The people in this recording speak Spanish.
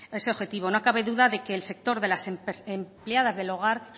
ese objetivo no cabe duda de que el sector de las empleadas del hogar